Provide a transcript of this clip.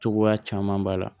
Cogoya caman b'a la